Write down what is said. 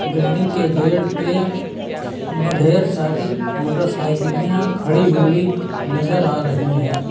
Building के gate पे ब ढेर सारी मोटरसइकिलियां खड़ी हुई नजर आ रही हैं।